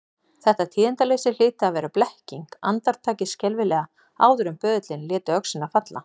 Þetta tíðindaleysi hlyti að vera blekking, andartakið skelfilega áður en böðullinn léti öxina falla.